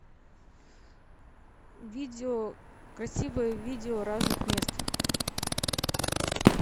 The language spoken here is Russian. видео красивое видео разных мест